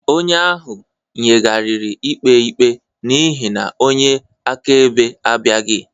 Onye ahụ yigharịrị ikpe ikpe n'ihi na onye akaebe abịaghị